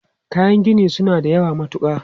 Kayan gini su na da yawa matuka.